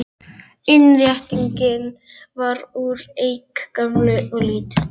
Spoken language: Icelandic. Innréttingin var úr eik, gömul og lítil.